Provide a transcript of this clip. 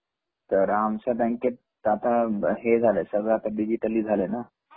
तर आमच्याबँकेत आता हे झालय सगळ डीजीटली झालाय न